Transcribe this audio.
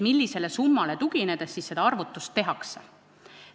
Millisele summale tuginedes siis seda arvutust teha?